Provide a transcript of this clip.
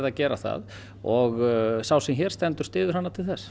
að gera það og sá sem hér stendur styður hana til þess